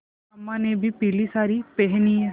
अम्मा ने भी पीली सारी पेहनी है